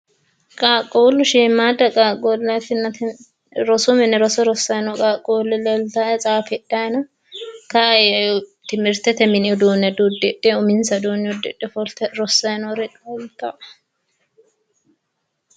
qaaqqulu shiimmadda qaaqqulleeti rosu mine roso rosaay noori leeltae tsaafidhanni no kayii timihiritete mini uduunne diudidhewo uminsa uduunne udidhe ofolte rossay noori leeltae